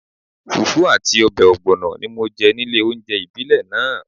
Fùfú àti ọbẹ̀ ọ̀gbọ̀nọ̀ ni mo jẹ nílé oúnjẹ ìbílẹ̀ náà